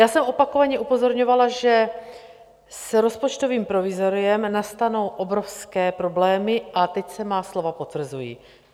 Já jsem opakovaně upozorňovala, že s rozpočtovým provizoriem nastanou obrovské problémy, a teď se má slova potvrzují.